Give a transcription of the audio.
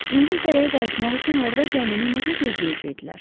İngiltərəyə qayıtmaq üçün orada gəmini necə gözləyəcəkdilər?